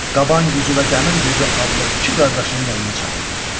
Qaban Güzü və Dəmir Güzü adlı iki qardaşını yanına çağırdı.